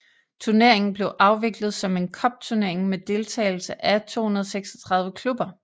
Turneringen blev afviklet som en cupturnering med deltagelse af 236 klubber